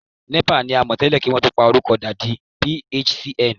NEPA ni a mọ̀ tẹ́lẹ̀ kí wọn tó porúkọ da di PHCN